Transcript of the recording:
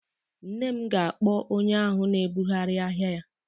Nne m ga-akpọ onye ahụ na-ebugharị ahịa ya